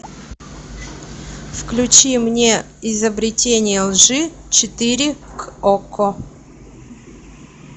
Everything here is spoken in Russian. включи мне изобретение лжи четыре окко